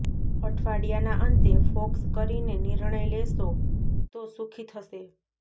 અઠવાડિયાના અંતે ફોકસ કરીને નિર્ણય લેશો તો સુખી થશે